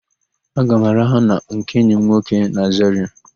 Aga m araha na nke enyi m nwoke na Zarịa.